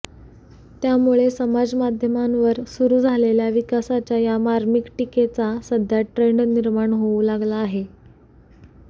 त्यामुळे समाज माध्यमांवर सुरु झालेल्या विकासाच्या या मार्मिक टीकेचा सध्या ट्रेंड निर्माण होऊ लागला आहे